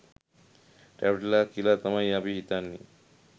රැවටිලා කියලා තමයි අපි හිතන්නේ.